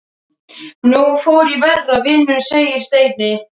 Nú fór í verra, vinurinn segir Steini.